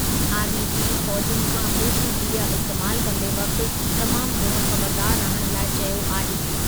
Army chief फ़ौज़ियुनि खां social media इस्तेमालु कंदे वक़्ति तमामु घणो ख़बरदार रहण लाइ चयो आहे।